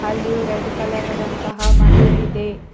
ಅಲ್ಲಿಯೂ red colour ಆದಂತಹ ಮಣ್ಣು ಇದೆ.